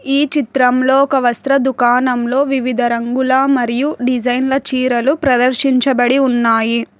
ఈ చిత్రంలో ఒక వస్త్ర దుకాణం లో వివిధ రంగుల మరియు డిజైన్ల చీరలు ప్రదర్శించబడి ఉన్నాయి.